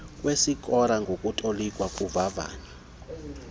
kwesikora nokutolikwa kovavanyo